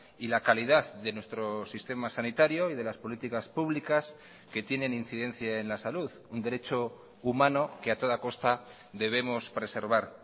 y la calidad de nuestro sistema sanitario y de las políticas públicas que tienen incidencia en la salud un derecho humano que a toda costa debemos preservar